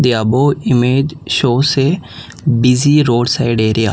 the above image shows a busy roadside area.